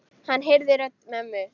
Hann heyrði rödd mömmu.